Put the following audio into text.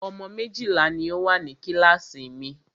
Ọmọ méjìlá ní o wà ní kíláàsì mi.